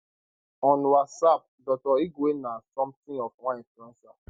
on whatsapp dr igwe na somethin of one influencer